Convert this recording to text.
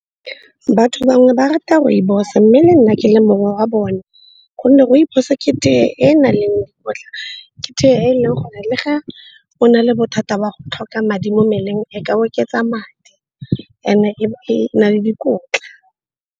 Batho bangwe ba rata rooibos-e mme le nna ke le mongwe wa bone gonne rooibos ke tee e e nang le gotlhe. Ke tee eleng gore le ga o na le bothata ba go tlhoka madi mo mmeleng, e ka oketsa madi and-e e na le dikotla.